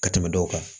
Ka tɛmɛ dɔw kan